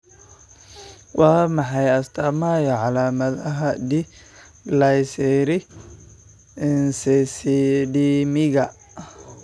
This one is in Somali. Waa maxay astamaha iyo calaamadaha D glycericacidemiga?